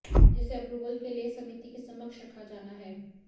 जिसे अप्रूवल के लिए समिति के समक्ष रखा जाना है